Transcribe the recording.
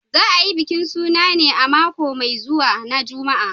Za a yi bikin suna ne a mako mai zuwa na Juma'a